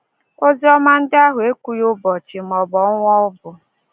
Oziọma ndị ahụ ekwughị ụbọchị maọbụ ọnwa ọ bụ...